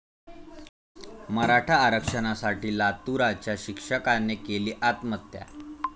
मराठा आरक्षणासाठी लातूराच्या शिक्षकाने केली आत्महत्या